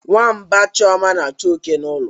Nwamba chioma na-achu oke n'ụlọ.